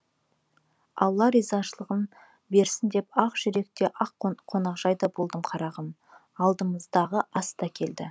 алла ризашылығын берсін деп ақжүрек те қонақжайда болдым қарағым алдымызға ас та келді